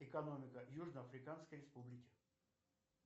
экономика южно африканской республики